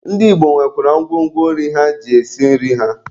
Ndị Igbo nwekwara ngwo ngwo nri ha ji esi nri ha.